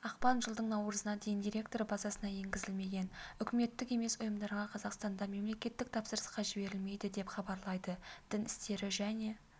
ақпан жылдың наурызына дейін деректер базасына енгізілмеген үкіметтік емес ұйымдарға қазақстанда мемлекеттік тапсырысқа жіберілмейді деп хабарлайды дін істері және